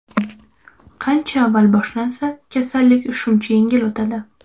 Qancha avval boshlansa, kasallik shuncha yengil o‘tadi.